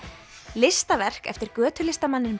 listaverk eftir